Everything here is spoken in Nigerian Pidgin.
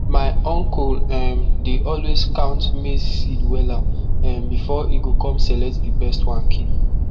my uncle um dey always count maize seed wella um before e go com select di best one keep